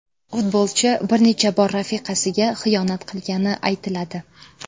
Futbolchi bir necha bor rafiqasiga xiyonat qilgani aytiladi.